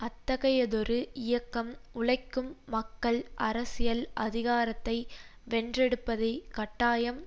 அத்தகையதொரு இயக்கம் உழைக்கும் மக்கள் அரசியல் அதிகாரத்தை வென்றெடுப்பதை கட்டாயம்